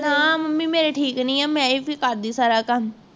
ਹਾਂ ਮੰਮੀ ਮੇਰੀ ਠੀਕ ਨਹੀਂ ਹੈ, ਮੈਂ ਫਿਰ ਕਰਦੀ ਸਾਰਾ ਕੰਮ